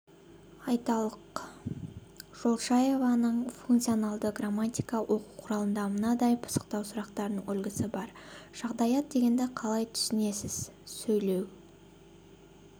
айталық жолшаеваның функционалды грамматика оқу құралында мынадай пысықтау сұрақтарының үлгісі бар жағдаят дегенді қалай түсінесіз сөйлеу